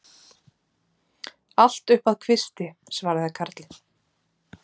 Allt upp að kvisti, svaraði karlinn.